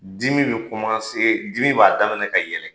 Dimi bɛ dimi b'a daminɛ ka yɛlɛn.